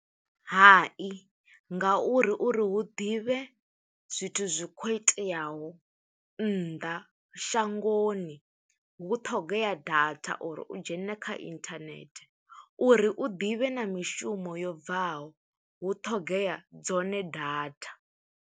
Hai, ngauri uri hu ḓivhe zwithu zwi kho iteaho nnḓa shangoni, hu ṱhogea data uri u dzhene kha internet, uri u ḓivhe na mishumo yo bvaho, hu ṱhogea dzone data.